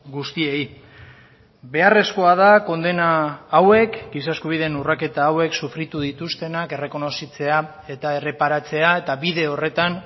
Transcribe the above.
guztiei beharrezkoa da kondena hauek giza eskubideen urraketa hauek sufritu dituztenak errekonozitzea eta erreparatzea eta bide horretan